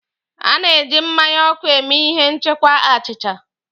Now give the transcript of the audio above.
A na-eji mmanya ọkụ eme ihe nchekwa achịcha.